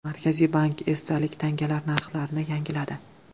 Markaziy bank esdalik tangalar narxlarini yangiladi.